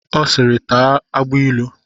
Ọ siiri, taa agbailu!